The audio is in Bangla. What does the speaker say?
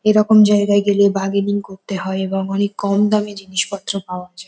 এরকম জায়গাই গেলে বারগেনিং করতে হয় এবং অনেক কম দামে জিনিস পত্র পাওয়া যায়।